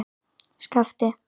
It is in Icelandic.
Skapti